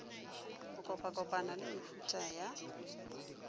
go kopakopana le mehutahuta ya